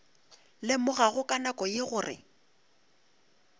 lemogago ka nako ye gore